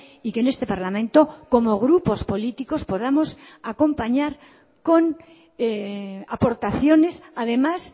y que en este parlamento como grupos políticos podamos acompañar con aportaciones además